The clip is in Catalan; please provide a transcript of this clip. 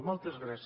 moltes gràcies